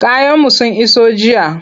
Kayanmu sun iso jiya.